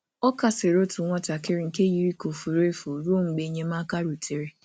Ọ kasịrị nwa nọ ka ọ furu efu ruo mgbe enyemaka bịara.